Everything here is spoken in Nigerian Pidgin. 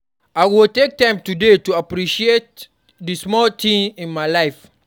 I go take time today to appreciate di small things in my life.